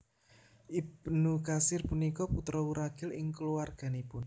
Ibnu Katsir punika putra wuragil ing kulawarganipun